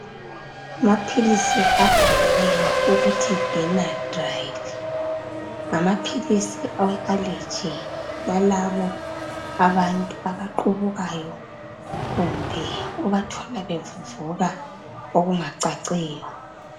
Amaphilisi abhaliweyo ukuthi Benadryl ngama philisi awe aleji balabo abantu abaqhubukayo kumbe obathola bevuvuka okungacaciyo.